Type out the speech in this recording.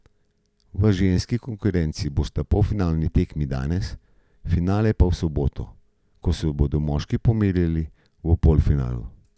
V ženski konkurenci bosta polfinalni tekmi danes, finale pa v soboto, ko se bodo moški pomerili v polfinalu.